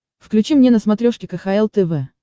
включи мне на смотрешке кхл тв